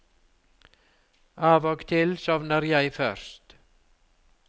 Av og til sovner jeg først.